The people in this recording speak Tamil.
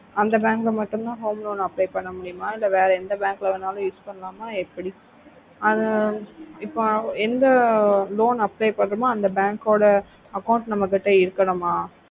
அந்த bank ல மட்டும்தா home loan apply பண்ண முடியுமா இல்ல வேற எந்த bank ல வேணாலும் use பண்ணலாமா எப்டி ஆஹ் இப்போ எந்த loan apply பண்றோமோ அந்த bank ஒட account நம்ம கிட்ட இருக்குனோமா